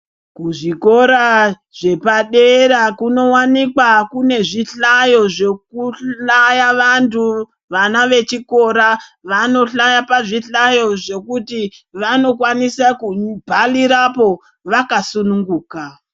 Kuzvikora zvepadera kunowanikwa kune zvihlayo zvekuhlyaya vantu vana vechikora vanohlaya pazvihlayo zvekuti vanokwanisa kubharirapo vakasunguka.